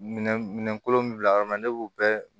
Minɛn minɛn kolon min bila yɔrɔ min na ne b'o bɛɛ